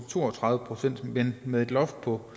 to og tredive procent med et loft på